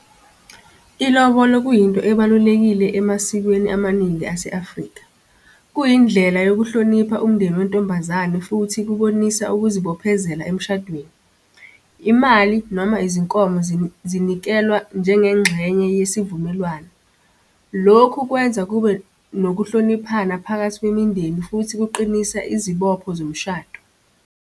Ilobolo kuyinto ebalulekile emasikweni amaningi ase-Afrika. Kuyindlela yokuhlonipha umndeni wentombazane futhi kubonisa ukuzibophezela emshadweni. Imali noma izinkomo zinikelwa njengengxenye yesivumelwano. Lokhu kwenza kube nokuhloniphana phakathi kwemindeni futhi kuqinisa izibopho zomshado.